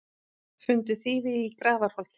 Fundu þýfi í Grafarholti